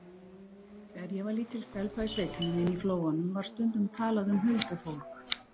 Þegar ég var lítil stelpa í sveitinni minni í Flóanum var stundum talað um huldufólk.